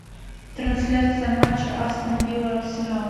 трансляция матча астон вилла арсенал